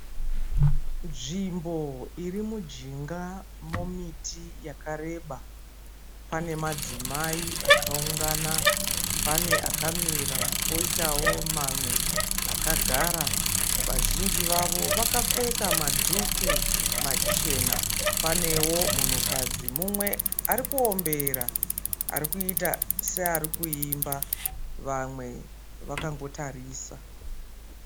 Nzvimbo iri mujinga momiti yakareba. Pane madzimai akaungana , pane akamira, poitawo mamwe akagara. Vazhinji vavo vakapfeka madhuku machena. Panewo munhukadzi mumwe arikuombera arikuita seari kuimba vamwe vakangotarisa.